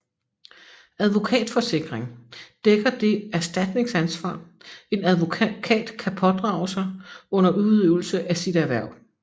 Advokatforsikring dækker det erstatningsansvar en advokat kan pådrage sig under udøvelse af sit erhverv